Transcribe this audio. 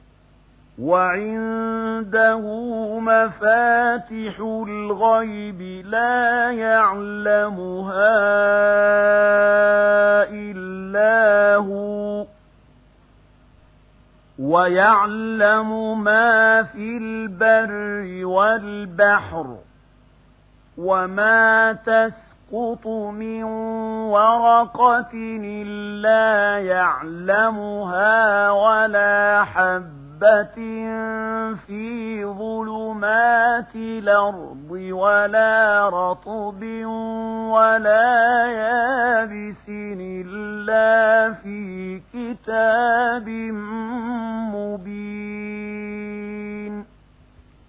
۞ وَعِندَهُ مَفَاتِحُ الْغَيْبِ لَا يَعْلَمُهَا إِلَّا هُوَ ۚ وَيَعْلَمُ مَا فِي الْبَرِّ وَالْبَحْرِ ۚ وَمَا تَسْقُطُ مِن وَرَقَةٍ إِلَّا يَعْلَمُهَا وَلَا حَبَّةٍ فِي ظُلُمَاتِ الْأَرْضِ وَلَا رَطْبٍ وَلَا يَابِسٍ إِلَّا فِي كِتَابٍ مُّبِينٍ